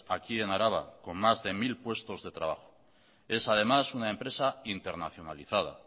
aquí en araba con mas de mil puestos de trabajo es además una empresa internacionalizada